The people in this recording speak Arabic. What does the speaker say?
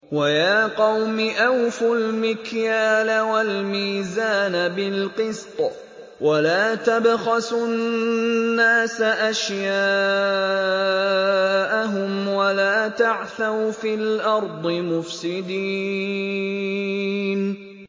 وَيَا قَوْمِ أَوْفُوا الْمِكْيَالَ وَالْمِيزَانَ بِالْقِسْطِ ۖ وَلَا تَبْخَسُوا النَّاسَ أَشْيَاءَهُمْ وَلَا تَعْثَوْا فِي الْأَرْضِ مُفْسِدِينَ